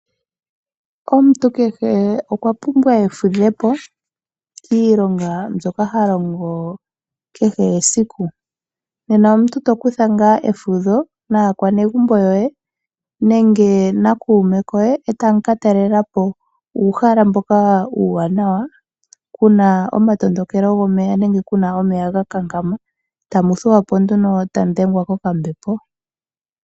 Omuntu kehe okwa pumbwa efudhepo kiilonga mbyoka ha longo kehe esiku uuna omuntu to kutha ngaa efudha naakwenegumbo yoye nenge naa kuume koye eta mu ka talelela po omahala ngoka omawanawa kuna omatondokelo gomeya nenge kuna omeya ga nkankama tamu thuwa po nduno ta mu dhengwa kokambepo.